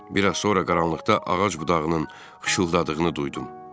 Bir az sonra qaranlıqda ağac budağının xışıltadığını duydum.